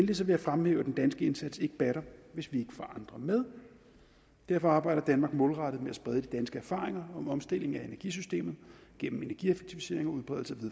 vil jeg fremhæve at den danske indsats ikke batter hvis vi får andre med derfor arbejder danmark målrettet med at sprede de danske erfaringer med omstilling af energisystemet gennem energieffektivisering og udbredelse